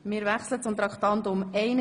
Wir wechseln zu Traktandum 31.